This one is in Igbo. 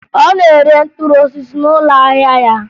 Ọ na-ere mkpụrụ osisi n'ụlọ ahịa ya